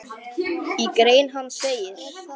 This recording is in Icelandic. Í grein hans segir